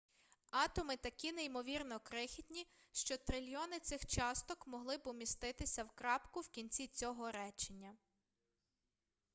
атоми такі неймовірно крихітні що трильйони цих часток могли б уміститися в крапку в кінці цього речення